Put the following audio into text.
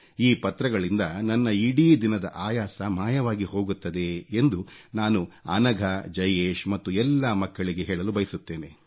ಈ ಪತ್ರಗಳಿಂದ ನನ್ನ ಇಡೀ ದಿನದ ಆಯಾಸ ಮಾಯವಾಗಿ ಹೋಗುತ್ತದೆ ಎಂದು ನಾನು ಅನಘಾ ಜಯೇಶ್ ಮತ್ತು ಎಲ್ಲಾ ಮಕ್ಕಳಿಗೆ ಹೇಳಲು ಬಯಸುತ್ತೇನೆ